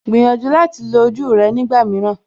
Gbìyànjú láti lo ojú rẹ nígbà mìíràn